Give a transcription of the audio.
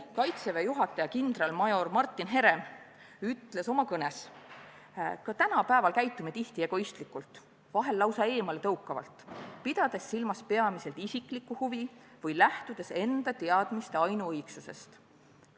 Kaitseväe juhataja kindralmajor Martin Herem ütles eile oma kõnes: "Ka tänapäeval käitume tihti egoistlikult, vahel lausa eemaletõukavalt, pidades silmas peamiselt isiklikku huvi või lähtudes enda teadmiste ainuõigsusest.